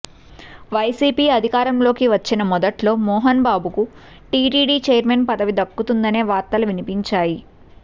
YCP అధికారంలోకి వచ్చిన మొదట్లో మోహన్ బాబుకు టీటీడీ చైర్మన్ పదవి దక్కుతుందనే వార్తలు వినిపించాయి